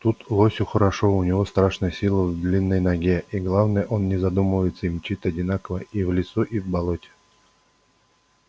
тут лосю хорошо у него страшная сила в длинной ноге и главное он не задумывается и мчит одинаково и в лесу и в болоте